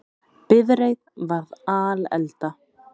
Bifreið varð alelda